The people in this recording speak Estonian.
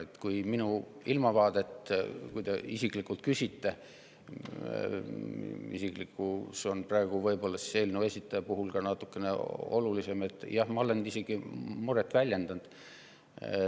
Kui te isiklikult minu ilmavaadet küsite, isiklikkus võib-olla on eelnõu esitaja puhul praegu natukene olulisem, siis jah, ma olen isegi muret väljendanud.